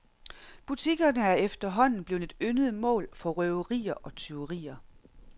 Butikkerne er efterhånden blevet et yndet mål for røverier og tyverier.